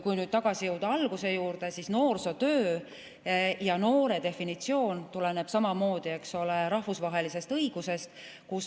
Kui nüüd tagasi jõuda alguse juurde, siis noore definitsioon tuleneb samamoodi, eks ole, rahvusvahelisest õigusest.